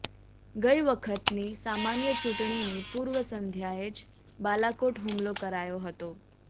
ગઈ વખતની સામાન્ય ચૂંટણીની પૂર્વ સંધ્યાએ જ બાલાકોટ હુમલો કરાયો હતો